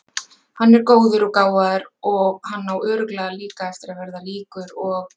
Hann er góður og gáfaður og hann á örugglega líka eftir að verða ríkur og.